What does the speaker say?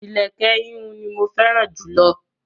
Ilẹ̀kẹ̀ ihùn ní mọ fẹ́ràn jùlọ.